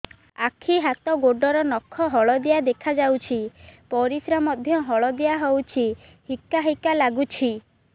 ଆଖି ହାତ ଗୋଡ଼ର ନଖ ହଳଦିଆ ଦେଖା ଯାଉଛି ପରିସ୍ରା ମଧ୍ୟ ହଳଦିଆ ହଉଛି ହିକା ହିକା ଲାଗୁଛି